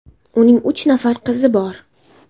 Uning uch nafar qizi bor.